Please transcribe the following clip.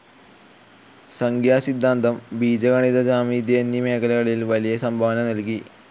സംഖ്യാസിദ്ധാന്തം, ബീജഗണിത ജിയോമെട്രി എന്നീ മേഖലകളിൽ വലിയ സംഭാവന നൽകി.